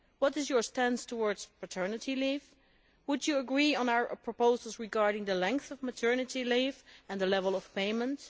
What is your stance towards paternity leave? Would you agree on our proposals regarding the length of maternity leave and the level of payments?